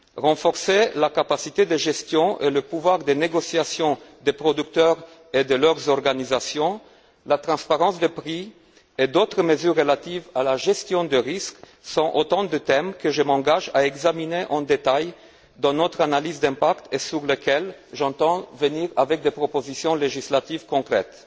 Renforcer la capacité de gestion et le pouvoir de négociation des producteurs et de leurs organisations, la transparence des prix et d'autres mesures relatives à la gestion des risques sont autant de thèmes que je m'engage à examiner en détail dans notre analyse d'impact et à propos desquels j'entends formuler des propositions législatives concrètes.